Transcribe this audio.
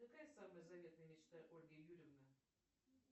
какая самая заветная мечта ольги юрьевны